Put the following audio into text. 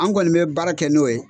An kɔni bɛ baara kɛ n'o ye.